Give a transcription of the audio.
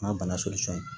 N'a bana